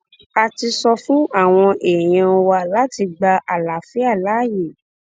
a ti sọ fún àwọn èèyàn wa láti gba àlàáfíà láàyè